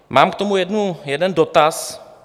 Mám k tomu jeden dotaz.